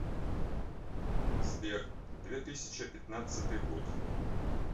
сбер две тысяча пятнадцатый год